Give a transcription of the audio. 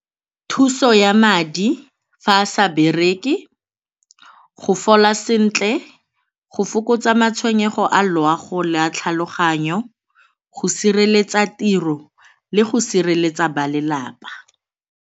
Thuso ya madi fa a sa bereke, go fola sentle, go fokotsa matshwenyego a loago le a tlhaloganyo, go sireletsa tiro le go sireletsa ba lelapa.